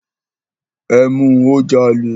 Ẹ mu, ó jalè.